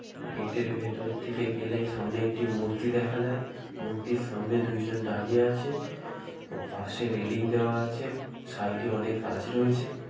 Gate - এর ভেতর দিকে গেলে সামনে একটি মূর্তি দেখা যায়। মূর্তির সামনে দুজন দাঁড়িয়ে আছে ও পাশে রেলিং দেওয়া আছে। সাইড -এ অনেক গাছ রয়েছে।